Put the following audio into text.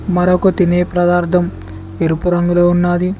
మరొక తినే ప్రదార్థం ఎరుపు రంగులో ఉన్నాది.